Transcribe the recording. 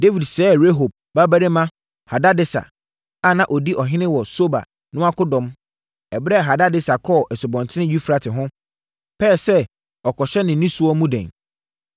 Dawid sɛe Rehob babarima Hadadeser a na ɔdi ɔhene wɔ Soba no akɔdɔm, ɛberɛ a Hadadeser kɔɔ Asubɔnten Eufrate ho, pɛɛ sɛ ɔkɔhyɛ ne nnisoɔ mu den.